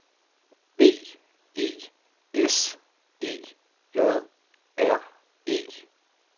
B E S E J R E